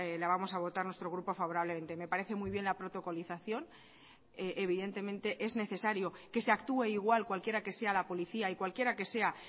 la vamos a votar nuestro grupo favorablemente me parece muy bien la protocolización evidentemente es necesario que se actúe igual cualquiera que sea la policía y cualquiera que sea